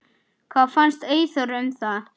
Hvað fannst Eyþóri um það?